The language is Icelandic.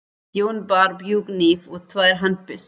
Jón bar bjúghníf og tvær handbyssur.